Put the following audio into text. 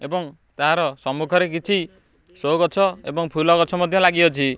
ଏବଂ ତାର ସମ୍ମୁଖ ରେ କିଛି ସୋ ଗଛ ଏବଂ ଫୁଲ ଗଛ ମଧ୍ୟ ଲାଗି ଅଛି।